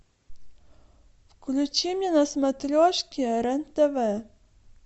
включи мне на смотрешке рен тв